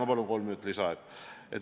Ma palun kolm minutit lisaaega!